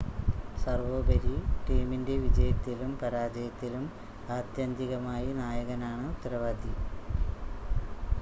സർവോപരി ടീമിൻ്റെ വിജയത്തിലും പരാജയത്തിലും ആത്യന്തികമായി നായകനാണ് ഉത്തരവാദി